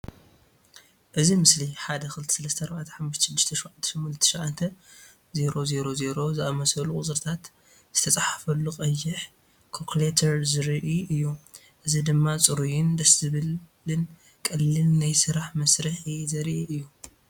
እዚ ምስሊ "123456789000" ዝኣመሰሉ ቁጽርታት ዝተጻሕፈሉ ቀይሕ ካልኩሌተር ዘርኢ እዩ። እዚ ድማ ጽሩይን ደስ ዘብልን ቀሊልን ናይ ስራሕ መሳርሒ ዘርኢ እዩ።